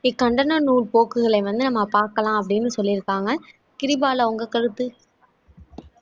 இக்கண்டன நூல் போக்குகளை வந்து நம்ம பார்க்கலாம் அப்படின்னு சொல்லிருக்காங்க கிரிபாலா உங்க கருத்து